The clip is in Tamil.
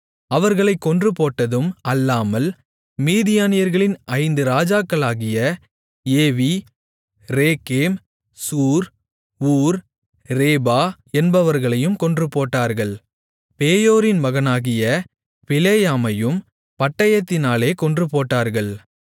அவர்களைக் கொன்றுபோட்டதும் அல்லாமல் மீதியானியர்களின் ஐந்து ராஜாக்களாகிய Evi Rekem Zur Hur Reba என்பவர்களையும் கொன்றுபோட்டார்கள் பேயோரின் மகனாகிய பிலேயாமையும் பட்டயத்தினாலே கொன்றுபோட்டார்கள்